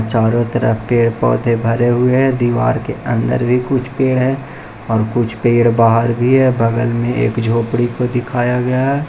चारों तरफ पेड़ पौधे भरे हुए हैं दीवार के अंदर भी कुछ पेड़ है और कुछ पेड़ बाहर भी है बगल में एक झोपड़ी को दिखाया गया।